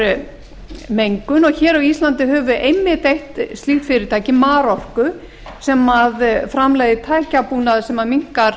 minnkar mengun og hér á íslandi höfum við einmitt eitt slíkt fyrirtæki marorku sem framleiðir tækjabúnað sem minnkar